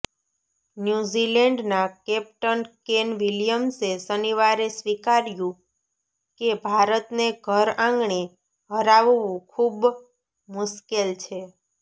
ન્યૂઝીલેન્ડના captain Kane વિલિયમ્સે શનિવારે સ્વીકાર્યું કે ભારતને ઘરઆંગણે હરાવવું ખુંબ મુશ્કેલ છે